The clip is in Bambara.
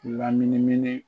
la minimin